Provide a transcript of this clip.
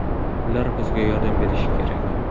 Ular bizga yordam berishi kerak”.